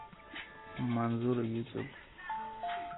манзура ютуб